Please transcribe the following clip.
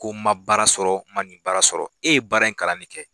Ko ma baara sɔrɔ ma nin baara sɔrɔ e ye baara in kalan de kɛ.